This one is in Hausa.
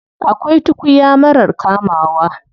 Akwai tukuya marar kamawa.